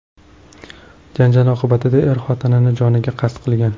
Janjal oqibatida er xotinini joniga qasd qilgan.